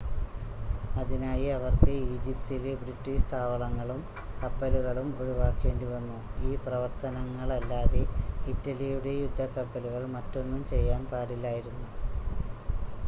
അതിനായി അവർക്ക് ഈജിപ്തിലെ ബ്രിട്ടീഷ് താവളങ്ങളും കപ്പലുകളും ഒഴിവാക്കേണ്ടിവന്നു ഈ പ്രവർത്തനങ്ങളല്ലാതെ ഇറ്റലിയുടെ യുദ്ധക്കപ്പലുകൾ മറ്റൊന്നും ചെയ്യാൻ പാടില്ലായിരുന്നു